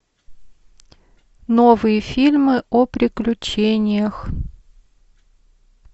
новые фильмы о приключениях